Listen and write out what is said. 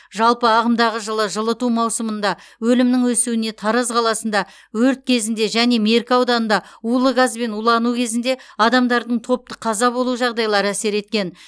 жалпы ағымдағы жылы жылыту маусымында өлімнің өсуіне тараз қаласында өрт кезінде және меркі ауданында улы газбен улану кезінде адамдардың топтық қаза болу жағдайлары әсер еткен